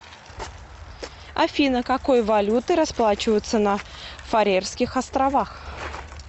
афина какой валютой расплачиваются на фарерских островах